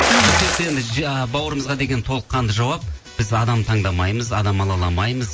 сол себептен бауырымызға деген толыққанды жауап біз адам таңдамаймыз адам алаламаймыз